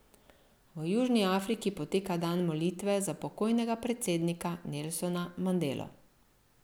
V Južni Afriki poteka dan molitve za pokojnega predsednika Nelsona Mandelo.